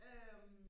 øh